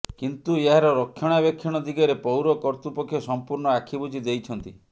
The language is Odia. କିନ୍ତୁ ଏହାର ରକ୍ଷଣାବେକ୍ଷଣ ଦିଗରେ ପୌର କର୍ତ୍ତୃପକ୍ଷ ସମ୍ପୂର୍ଣ୍ଣ ଆଖି ବୁଜି ଦେଇଛନ୍ତି